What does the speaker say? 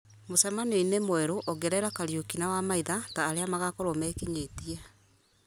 mũcemanio-inĩ mwerũ ongerera kariũki na wamaitha ta arĩa magakorwo mekinyĩtie